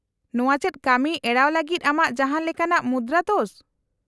-ᱱᱚᱶᱟ ᱪᱮᱫ ᱠᱟᱹᱢᱤ ᱮᱲᱟᱣ ᱞᱟᱹᱜᱤᱫ ᱟᱢᱟᱜ ᱡᱟᱦᱟᱸᱱ ᱞᱮᱠᱟᱱᱟᱜ ᱢᱩᱫᱨᱟᱹ ᱫᱳᱥ ?